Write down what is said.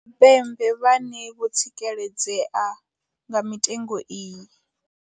Tshipembe vhane vho tsikeledzea nga mitengo iyi.